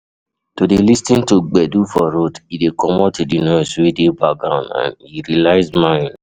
To de lis ten to gbedu for road e de commot di noise wey de background and e relax mind